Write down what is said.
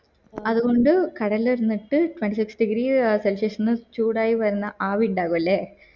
അതുകൊണ്ടു കടൽ ഇരിന്നിട്ട് twenty six degree celsius ചൂടായി വരുന്ന ആവി ഇണ്ടാവുല്ലേ